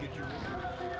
og